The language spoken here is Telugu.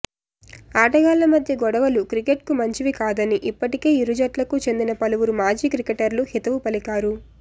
ఆటగాళ్ల మధ్య గొడవలు క్రికెట్కు మంచివి కాదని ఇప్పటికే ఇరు జట్లకు చెందిన పలువురు మాజీ క్రికెటర్లు హితవు పలికారు